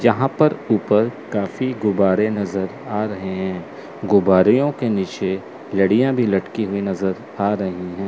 यहां पर ऊपर काफी गुब्बारे नज़र आ रहे हैं गुब्बारे के नीचे लड़ियां भी लटकी हुई नजर आ रही हैं।